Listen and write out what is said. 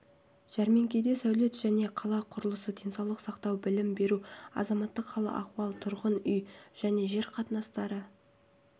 жәрмеңкеде сәулет және қала құрылысы денсаулық сақтау білім беру азаматтық хал-ахуал тұрғын үй және жер қатынастары